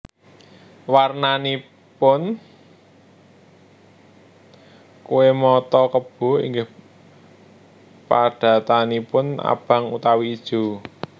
Warnanaipun kué mata kebo inggih padatanipun abang utawi ijo